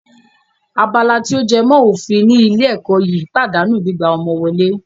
Abala tí ó jẹ mọ́ òfin ní ilé ẹ̀kọ́ yìí pàdánù gbígbà ọmọ wọlé